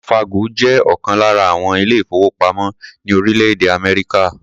Wells Fargo jẹ́ ọ̀kan lára àwọn ilé-ìfowópamọ́ ní orílẹ̀-èdè Amerika.